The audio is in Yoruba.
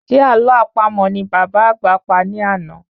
Se àlọ́ àpamọ̀ ní bàbá àgbà pa ní àná?